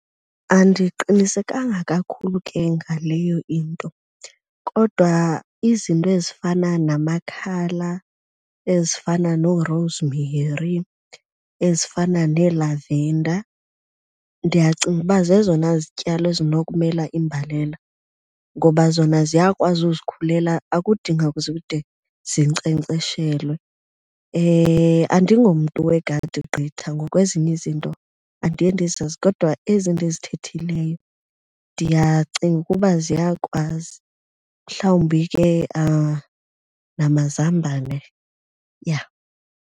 Andiqinisekanga kakhulu ke ngaleyo into kodwa izinto ezifana namakhala, ezifana noo-rosemary, ezifana nee-lavender, ndiyacinga uba zezona zityalo ezinokumela imbalela. Ngoba zona ziyakwazi uzikhulela, akudingi kuze kude zinkcenkceshelwe. Andingomntu wegadi gqitha ngoku ezinye izinto andiye ndizazi kodwa ezi ndizithethileyo ndiyacinga ukuba ziyakwazi, mhlawumbi ke namazambane, yha.